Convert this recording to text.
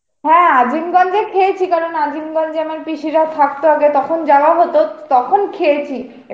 হ্যা আজিমগন্জে খেয়েছি কারণ আজিমগন্জে আমার পিসিরা থাকত আগে তখন যাওয়া হত তখন খেয়েছি.